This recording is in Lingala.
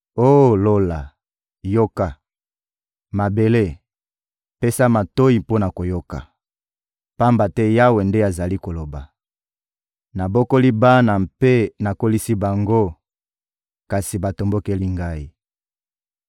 Oh Lola, yoka! Mabele, pesa matoyi mpo na koyoka! Pamba te Yawe nde azali koloba: «Nabokoli bana mpe nakolisi bango, kasi batombokeli Ngai.